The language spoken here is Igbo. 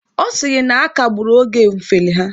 Ọ sịrị na a kagburu oge mfeli ha